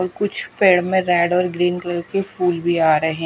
और कुछ पेड़ में रेड और ग्रीन कलर के फूल भी आ रहे हैं।